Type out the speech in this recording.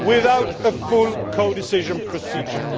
without a full codecision procedure.